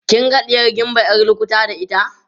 kin ga ɗiyar gimba ƴar lukuta da ita